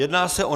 Jedná se o